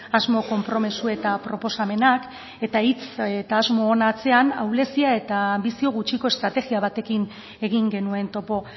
asmo konpromezu eta proposamenak eta hitz eta asmoen atzean ahulezia eta bizi gutxiko estrategia batekin egin genuen topo